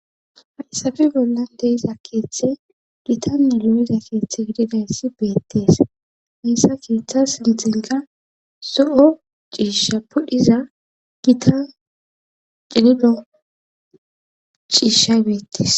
hadhisafe bollan deiza keeththe gita milumiza keeththe gididayssi beettees hissa keeththa sintinka so7o ciisha pudhiza gita cinido ciisha geettes